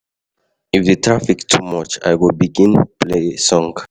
If di traffic too much, I go begin play song.